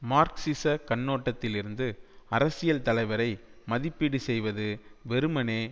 மார்க்சிசக் கண்ணோட்டத்திலிருந்து அரசியல் தலைவரை மதிப்பீடு செய்வது வெறுமனே